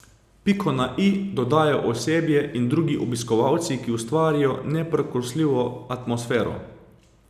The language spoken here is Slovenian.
Piko na i dodajo osebje in drugi obiskovalci, ki ustvarjajo neprekosljivo atmosfero.